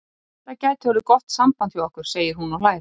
Þetta gæti orðið gott samband hjá okkur, segir hún og hlær.